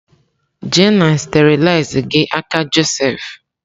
Je na sterilaiz gị aka Joseph!